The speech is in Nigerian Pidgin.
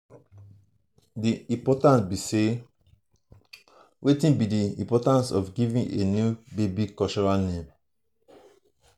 wetin be di importance of giving a new baby cultural name?